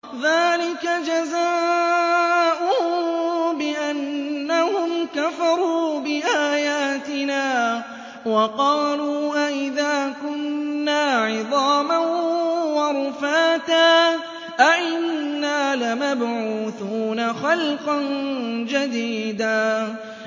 ذَٰلِكَ جَزَاؤُهُم بِأَنَّهُمْ كَفَرُوا بِآيَاتِنَا وَقَالُوا أَإِذَا كُنَّا عِظَامًا وَرُفَاتًا أَإِنَّا لَمَبْعُوثُونَ خَلْقًا جَدِيدًا